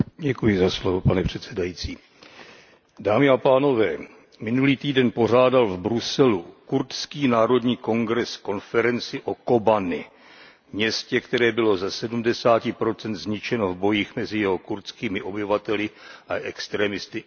Pane předsedající, minulý týden pořádal v Bruselu Kurdský národní kongres konferenci o Kobani, městě, které bylo ze sedmdesáti procent zničeno v bojích mezi jeho kurdskými obyvateli a extrémisty ISIS.